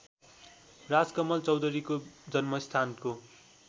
राजकमल चौधरीको जन्मस्थानको